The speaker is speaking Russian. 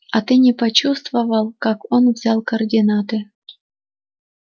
а ты не почувствовал как он взял координаты